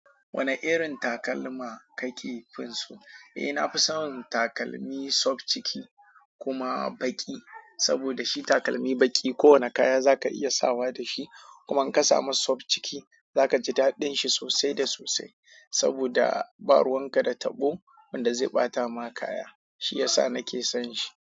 Wane irin takalma kake finso? Eh, na fi son takalmi soft ciki kuma baƙi. Saboda shi takalmi baƙi kowane kaya za ka iya sawa da shi. Kuma in ka samu sau ciki, za ka ji daɗin shi sosai da sosai. Saboda ɓaruwan ka da taɓo wanda zai ɓata ma kaya. Shi yasa na ke son shi.